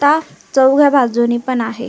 ता चौघ्या बाजूनी पण आहे.